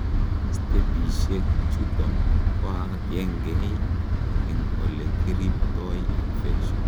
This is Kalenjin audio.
stepishek chuton koagengei en ole kiripiptoi infection